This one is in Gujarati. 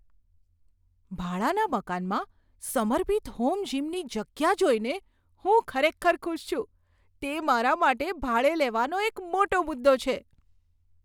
ભાડાના મકાનમાં સમર્પિત હોમ જિમની જગ્યા જોઈને હું ખરેખર ખુશ છું, તે મારા માટે ભાડે લેવાનો એક મોટો મુદ્દો છે.